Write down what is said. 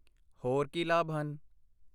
ਹੋਰ ਕੀ ਲਾਭ ਹਨ?